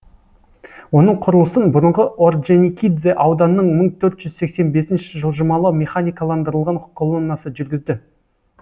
оның құрылысын бұрынғы ордженикидзе ауданының мың төрт жүз сексен бесінші жылжымалы механикаландырылған колоннасы жүргізді